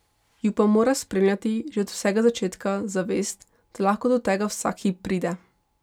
Ju pa mora spremljati, že od vsega začetka, zavest, da lahko do tega vsak hip pride.